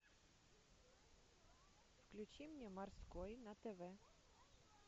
включи мне морской на тв